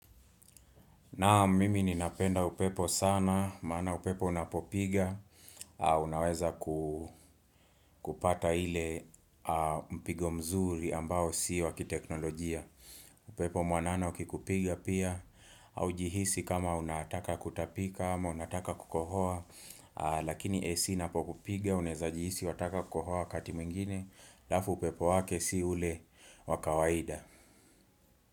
Naam, mimi ninapenda upepo sana, maana upepo unapopiga, unaweza kupata ile mpigo mzuri ambao si wa kiteknolojia. Upepo mwanana ukikupiga pia, haujihisi kama unataka kutapika, ama unataka kukohoa, lakini AC inapokupiga, unaweza jihisi wataka kukohoa wakati mwingine, halafu upepo wake si ule wa kawaida.